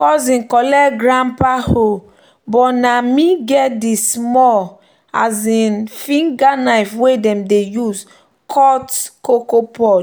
"cousin collect grandpa hoe but na me get di small um finger knife wey dem dey use cut cocoa pod."